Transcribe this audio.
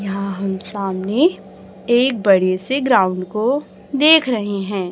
यहां हम सामने एक बड़े से ग्राउंड को देख रहे हैं।